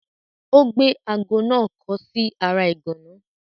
Ó gbé aago náà kọ́ sí ara ìgànná.